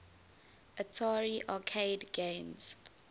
atari arcade games